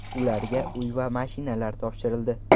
Ularga uy va mashinalar topshirildi.